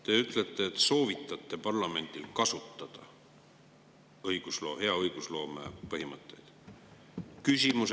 Te ütlete, et soovitate parlamendil kasutada hea õigusloome põhimõtteid.